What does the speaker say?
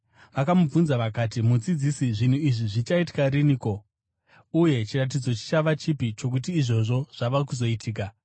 Vakamubvunza vakati, “Mudzidzisi, zvinhu izvi zvichaitika rinhiko? Uye chiratidzo chichava chipi chokuti izvozvo zvava kuzoitika?”